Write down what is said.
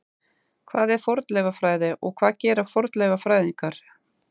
Hvað er fornleifafræði og hvað gera fornleifafræðingar?